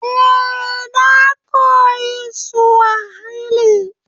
Eh, na koyi Suwahili